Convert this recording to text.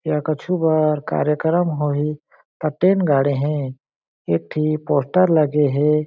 इहा कछु बर कार्यक्रम होही टेंट गड़े हे एक ठी पोस्टर लगे हे।